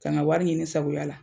Ka na wari ɲini sagoya la.